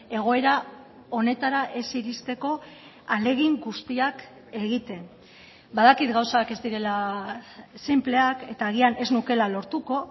egoera honetara ez iristeko ahalegin guztiak egiten badakit gauzak ez direla sinpleak eta agian ez nukela lortuko